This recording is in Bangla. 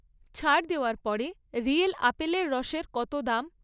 ছাড় দেওয়ার পরে রিয়েল আপেলের রসের কত দাম?